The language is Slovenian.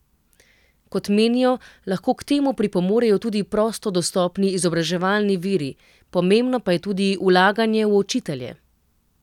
Kot menijo, lahko k temu pripomorejo tudi prosto dostopni izobraževalni viri, pomembno pa je tudi vlaganje v učitelje.